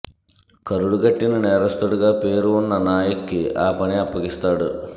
కరడు గట్టిన నేరస్తుడుగా పేరు వున్న నాయక్కి ఆ పని అప్పగిస్తాడు